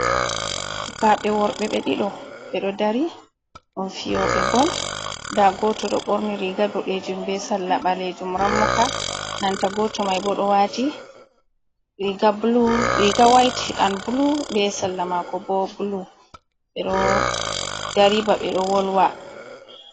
Sukaɓe worɓe ɓe ɗiɗon ɓedo dari ɗum fiyoɓe bol nda goto ɗo ɓorni riga boɗejum be salla balejum rammuka nanta goto mai bo ɗo wati riga white and blu ɓe salla mako bo blu ɓeɗo dari ba ɓeɗo wolwa